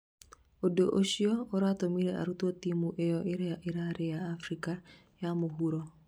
ũndũ ũcio ũratumire arutwo timu ĩyo ĩria ĩrarĩ ya Afrika ya mũhuro